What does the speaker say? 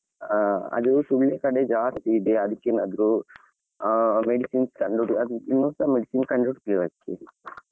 ಆ ಅದು ಸುಳ್ಯ ಕಡೆ ಜಾಸ್ತಿ ಇದೆ ಅದಕ್ಕೆ ಏನಾದ್ರೂ ಆ medicines ಕಂಡುಹುಡು~ ಇನ್ನುಸ medicines ಕಂಡುಹುಡುಕ್ಲಿಲ್ಲ ಅದಕ್ಕೆ.